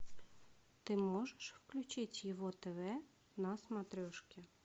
ты можешь включить его тв на смотрешке